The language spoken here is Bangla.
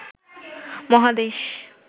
মহাদেশ